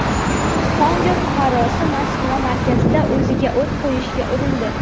Kongo fuqarosi Moskva markazida o‘ziga o‘t qo‘yishga urindi.